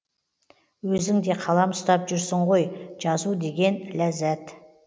өзің де қалам ұстап жүрсің ғой жазу деген ләззат